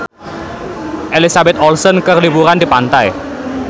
Elizabeth Olsen keur liburan di pantai